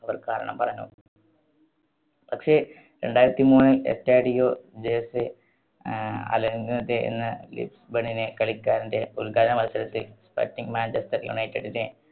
അവർ കാരണം പറഞ്ഞു. പക്ഷേ രണ്ടായിരത്തി മൂന്നിൽ എസ്റ്റാഡിയോ ജോസേ അഹ് എന്ന ലിസ്ബണിലെ കളിക്കാരന്റെ ഉദ്ഘാടന മത്സരത്തിൽ sporting മാഞ്ചെസ്റ്റർ യുണൈറ്റഡിനെ